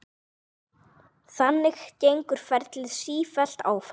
Þannig gengur ferlið sífellt áfram.